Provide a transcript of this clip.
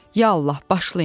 Ya Allah, başlayın!